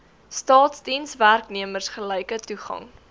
staatsdienswerknemers gelyke toegang